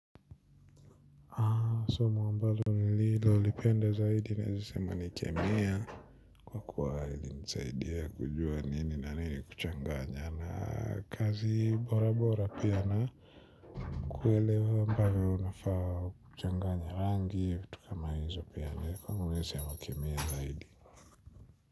Samo ambalo nililo lipenda zaidi naezasema ni kemea. Kwa kuwa ili nisaidia kujua nini na nini kuchanganya na kazi bora bora pia na kuelewa ambavo unafaa kuchanganya rangi vitu kama izo pia niliko nisema kemea zaidi.